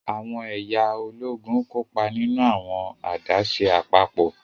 Awọn ẹya Ológùn kópa nínú awọn adaṣe apapọ.